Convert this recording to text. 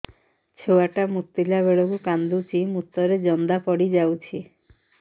ଛୁଆ ଟା ମୁତିଲା ବେଳକୁ କାନ୍ଦୁଚି ମୁତ ରେ ଜନ୍ଦା ପଡ଼ି ଯାଉଛି